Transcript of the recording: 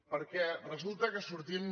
perquè resulta que sortim